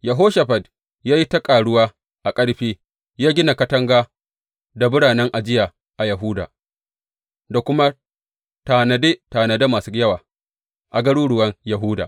Yehoshafat ya yi ta ƙaruwa a ƙarfi; ya gina katanga da biranen ajiya a Yahuda da kuma tanade tanade masu yawa a garuruwan Yahuda.